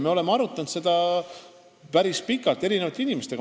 Me oleme seda päris pikalt eri inimestega arutanud.